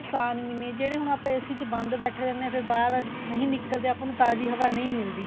ਨੁਕਸਾਨ ਵੀ ਨੇ ਜਿਹੜੇ ਹੁਣ ਆਪਾਂ AC ਚ ਬੰਦ ਬੈਠੇ ਰਹਿਣੇ ਆ ਫੇਰ ਬਾਹਰ ਨਹੀਂ ਨਿਕਲਦੇ ਆਪਾਂ ਨੂੰ ਤਾਜ਼ੀ ਹਵਾ ਨਹੀਂ ਮਿਲਦੀ